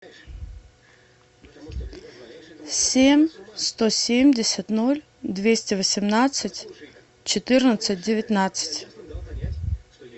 семь сто семьдесят ноль двести восемнадцать четырнадцать девятнадцать